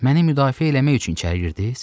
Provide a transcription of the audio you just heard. Məni müdafiə eləmək üçün içəri girdiniz?